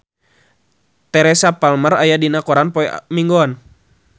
Teresa Palmer aya dina koran poe Minggon